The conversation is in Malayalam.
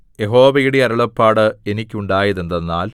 യഹോവയുടെ അരുളപ്പാട് എനിക്കുണ്ടായതെന്തെന്നാൽ